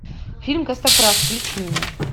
фильм костоправ включи мне